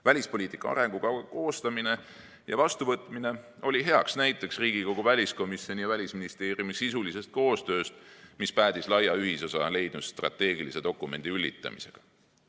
Välispoliitika arengukava koostamine ja vastuvõtmine oli hea näide Riigikogu väliskomisjoni ja Välisministeeriumi sisulisest koostööst, mis päädis laia ühisosa leidnud strateegilise dokumendi üllitamisega.